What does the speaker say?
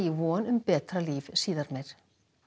í von um betra líf síðar meir